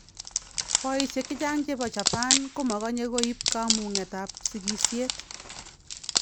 Boisiek chechang chebo Japan komakanye koib kamung'et ab sikisiet.